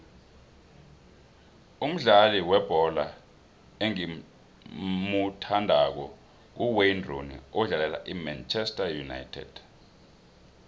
umdlali webholo engimuthandako nguwayne rooney odlalela imanchester united